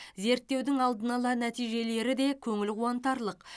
зерттеудің алдын ала нәтижелері де көңіл қуантарлық